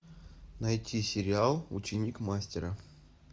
найти сериал ученик мастера